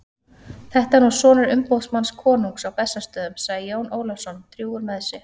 Þetta er nú sonur umboðsmanns konungs á Bessastöðum, sagði Jón Ólafsson drjúgur með sig.